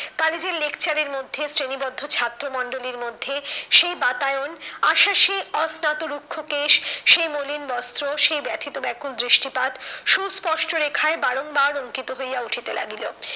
কালেজের lecture এর মধ্যে শ্রেণীবদ্ধ ছাত্রমন্ডলীর মধ্যে সেই বাতায়ন আশার সে অস্নাত রুক্ষ কেশ, সেই মলিন বস্ত্র, সেই ব্যাথিত ব্যাকুল দৃষ্টিপাত সুস্পষ্ট রেখায় বারংবার অঙ্কিত হইয়া উঠিতে লাগিল।